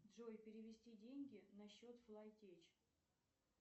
джой перевести деньги на счет флай теч